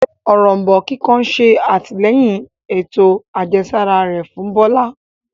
Òrombó kíkan ṣe atilẹyin ètò àjẹsára rẹ fún Bola.